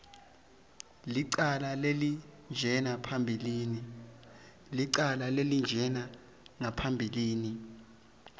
licala lelinjena phambilini